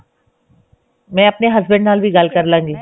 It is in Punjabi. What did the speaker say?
ਮੈਂ ਆਪਣੇ ਹੁਸ੍ਬੰਦ ਨਾਲ ਵੀ ਗੱਲ ਕਰ ਲਵਾਂਗੀ